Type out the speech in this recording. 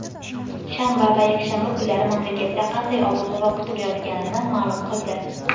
shanba va yakshanba kunlari mamlakatda qanday ob-havo kutilayotganini ma’lum qildi.